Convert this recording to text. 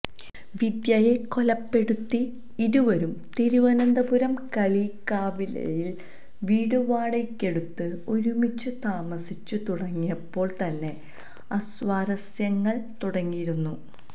വിദ്യയെ കൊലപ്പെടുത്തി ഇരുവരും തിരുവനന്തപുരം കളിയിക്കാവിളയിൽ വീട് വാടകയ്ക്കെടുത്ത് ഒരുമിച്ചു താമസിച്ചു തുടങ്ങിയപ്പോൾ തന്നെ അസ്വാരസ്യങ്ങളും തുടങ്ങിയിരുന്നു